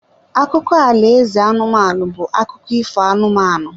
Akụkọ alaeze anụmanụ bụ akụkụ ifo anụmanụ.